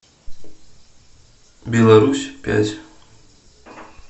беларусь пять